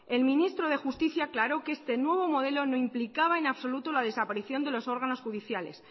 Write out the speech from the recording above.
el ministro de justicia aclaró que este nuevo modelo no implicaba en absoluto la desaparición de los órganos judiciales